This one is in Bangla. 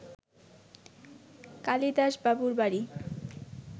কালিদাসবাবুর বাড়ি